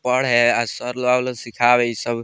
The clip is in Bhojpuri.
पढ़े और सर आवे ल सिखावे इ सब --